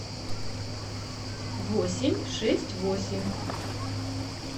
восемь шесть восемь